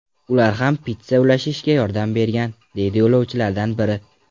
Ular ham pitssa ulashishga yordam bergan”, deydi yo‘lovchilardan biri.